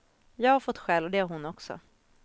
Jag har fått skäll och det har hon också.